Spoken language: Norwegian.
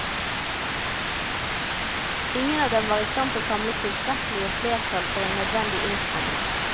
Ingen av dem var i stand til å samle tilstrekkelig flertall for en nødvendig innstramning.